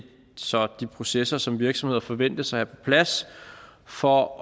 så de processer som virksomheder forventes at plads for